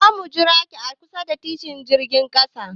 Za mu jiraki a kusa da titin jirgin sama.